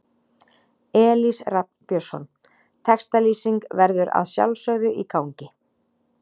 Elís Rafn Björnsson Textalýsing verður að sjálfsögðu í gangi.